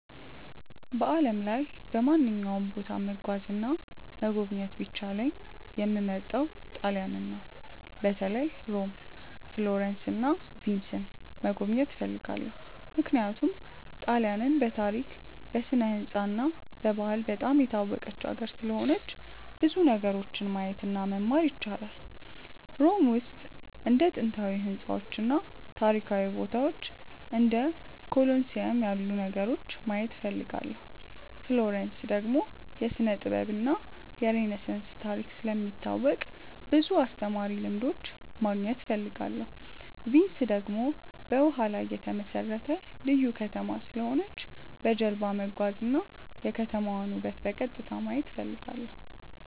በዓለም ላይ በማንኛውም ቦታ መጓዝ እና መጎብኘት ቢቻለኝ የምመርጠው ጣሊያንን ነው። በተለይ ሮም፣ ፍሎረንስ እና ቪንስን መጎብኘት እፈልጋለሁ። ምክንያቱም ጣሊያንን በታሪክ፣ በስነ-ሕንፃ እና በባህል በጣም የታወቀች ሀገር ስለሆነች ብዙ ነገሮችን ማየት እና መማር ይቻላል። ሮም ውስጥ እንደ ጥንታዊ ሕንፃዎች እና ታሪካዊ ቦታዎች እንደ ኮሎሲየም ያሉ ነገሮችን ማየት እፈልጋለሁ። ፍሎረንስ ደግሞ የስነ-ጥበብ እና የሬነሳንስ ታሪክ ስለሚታወቅ ብዙ አስተማሪ ልምዶች ማግኘት እፈልጋለሁ። ቪንስ ደግሞ በውሃ ላይ የተመሠረተ ልዩ ከተማ ስለሆነች በጀልባ መጓዝ እና የከተማዋን ውበት በቀጥታ ማየት እፈልጋለሁ።